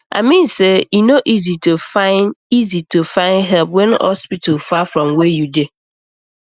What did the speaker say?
i mean say e no easy to find easy to find help when hospital far from where you dey